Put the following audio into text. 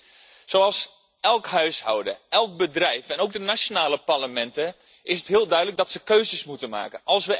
Voor elk huishouden, elk bedrijf en ook de nationale parlementen is het heel duidelijk dat ze keuzes moeten maken.